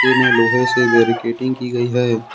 लोहे से बैरिकेडिंग की गई है।